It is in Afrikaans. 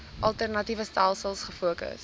alternatiewe stelsels gefokus